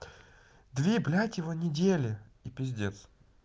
две блядь его недели и пиздец